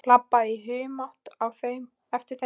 Labbaði í humátt á eftir þeim.